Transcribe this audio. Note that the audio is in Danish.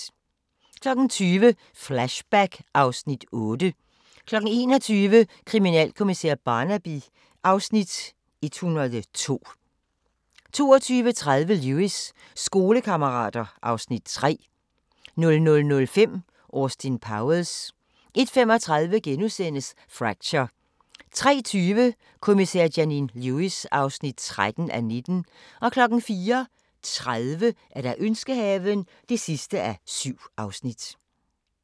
20:00: Flashback (Afs. 8) 21:00: Kriminalkommissær Barnaby (Afs. 102) 22:30: Lewis: Skolekammerater (Afs. 3) 00:05: Austin Powers 01:35: Fracture * 03:20: Kommissær Janine Lewis (13:19) 04:30: Ønskehaven (7:7)